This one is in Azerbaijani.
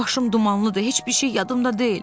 Başım dumanlıdır, heç bir şey yadımda deyil.